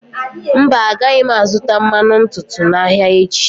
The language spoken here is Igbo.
Mba, agaghị m azụta mmanụ ntutu n'ahịa echi.